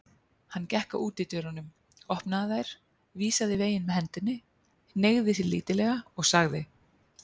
Hann gekk að útidyrunum, opnaði þær, vísaði veginn með hendinni, hneigði sig lítillega og sagði